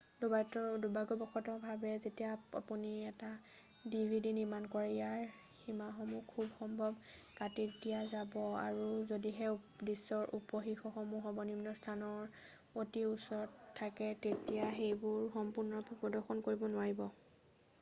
"দুৰ্ভাগ্যবশত ভাৱে যেতিয়া আপুনি এখন ডিভিডি নিৰ্মাণ কৰে, ইয়াৰ সীমাসমূহ খুবসম্ভৱ কাটি দিয়া যাব আৰু যদিহে দৃশ্যৰ উপশীৰ্ষকসমূহ সৰ্বনিম্ন স্থানৰ অতি ওচৰত থাকে তেতিয়া সেইবোৰ সম্পূৰ্ণৰূপে প্ৰদৰ্শন কৰিব নোৱাৰিব।""